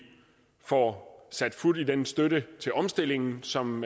får sat fut i den støtte til omstillingen som